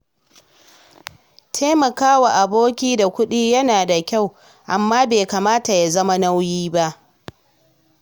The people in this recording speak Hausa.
Taimaka wa aboki da kuɗi yana da kyau, amma bai kamata ya zama nauyi ba.